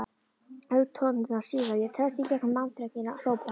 Augnatóftirnar síga, ég treðst í gegnum mannþröngina, hrópa